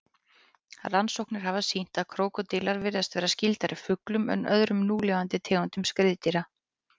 Rannsóknir hafa sýnt að krókódílar virðast vera skyldari fuglum en öðrum núlifandi tegundum skriðdýra.